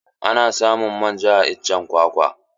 Ana samun manja a iccen kwakwa.